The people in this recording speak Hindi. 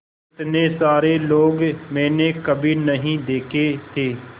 इतने सारे लोग मैंने कभी नहीं देखे थे